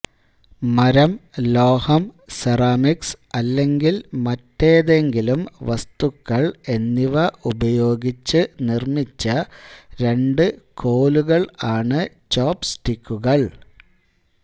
മരം ലോഹം സെറാമിക്സ് അല്ലെങ്കിൽ മറ്റേതെങ്കിലും വസ്തുക്കൾ എന്നിവ ഉപയോഗിച്ച് നിർമ്മിച്ച രണ്ട് കോലുകൾ ആണ് ചോപ്സ്റ്റിക്കുകൾ